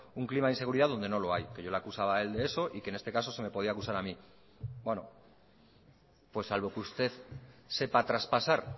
un clima de inseguridad donde no lo hay que yo le acusaba a él de eso y que en este caso se me podía acusar a mí bueno pues salvo que usted sepa traspasar